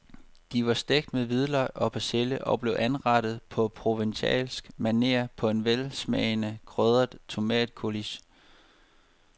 De var stegt med hvidløg og persille og blev anrettet på provencalsk maner på en velsmagende krydret tomatcoulis.